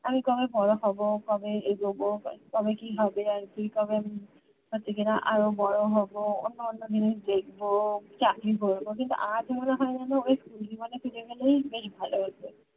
আমি কবে বড় হব কবে এই যোগ্য কবে কি হবে আর কি কবে হচ্ছে কিনা আরও বড় হব অন্যান্য জিনিস দেখবো চাকরি করবো কিন্তু আজ মনে হয় যেন school জীবনে ফিরে গেলেই বেশ ভালো হতো